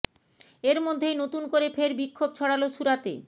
এর মধ্যেই নতুন করে ফের বিক্ষোভ ছড়াল সুরাতে